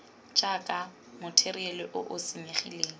jaaka matheriale o o senyegileng